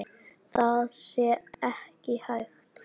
Það sé ekki hægt.